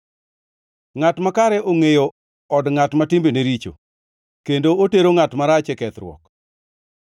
Ngʼat Makare ongʼeyo od ngʼat ma timbene richo kendo otero ngʼat marach e kethruok.